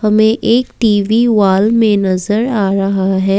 हमें एक TV wall में नजर आ रहा है।